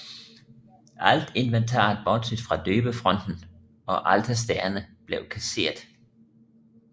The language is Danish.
Alt inventaret bortset fra døbefonten og alterstagerne blev kasseret